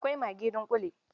Akwai maggi dunƙule.